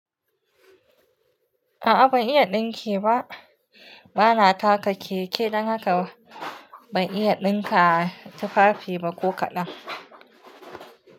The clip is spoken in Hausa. A'a ban iya ɗinki ba. Bana taka keke dan haka ban iya ɗinka tufafi ba ko kaɗan.